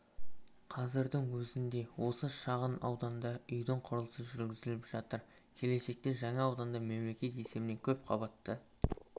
қазірдің өзінде осы шағын ауданда үйдің құрылысы жүргізіліп жатыр келешекте жаңа ауданда мемлекет есебінен көпқабатты